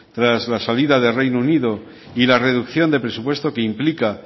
tras la salida del reino unido y la reducción de presupuesto que implica